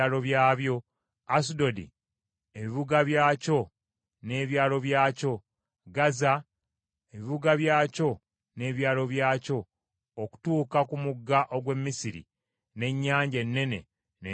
Asudodi, ebibuga byakyo n’ebyalo byakyo; Gaza, ebibuga byakyo n’ebyalo byakyo okutuuka ku mugga ogw’e Misiri, n’ennyanja ennene, n’ensalo yaayo.